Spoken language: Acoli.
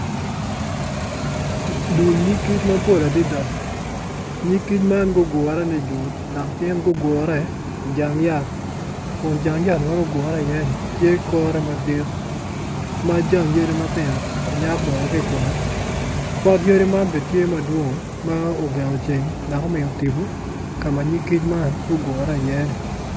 Dul nyig kic mapol adada nyig kic man gugure nijut dok gin gugure ijang yat kun jang yat ma gugure i iye ni tye kore madit ma jang yadi matino onyak bene ki kome pot yadi man bene tye madwong ma ogengo ceng dok omiyo tipo kama nyig kic ma gugure i iye ni